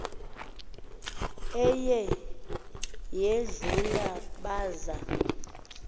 eye yedlula baza